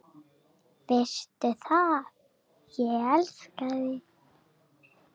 Veistu það, ég elska þig.